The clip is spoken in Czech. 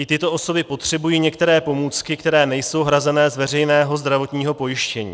I tyto osoby potřebují některé pomůcky, které nejsou hrazené z veřejného zdravotního pojištění.